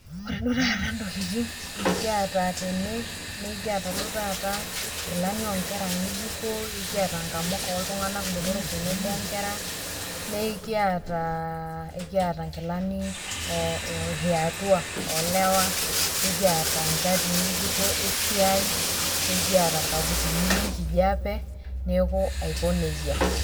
Ore taata intokitin nekiata tene, ekiata duo taata inkilani onkera ng'ejuko, ekiata nkamuka oltung'ana botoro tenebo o nkera, nekiata nkilani eatua olewa, nekiata nchatii ng'ejuko esiai, nekiata ilkaputini le nkijape, neaku aiko neija.